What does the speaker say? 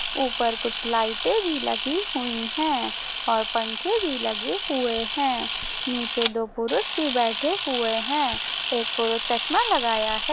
ऊपर कुछ लाइटे भी लगी हुई हैं और पंखे भी लगे हुए हैं निचे दो पुरुष भी बैठे हुये है एक पुरुष चश्मा लगाया हैं।